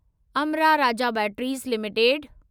Amra Raja batteries limited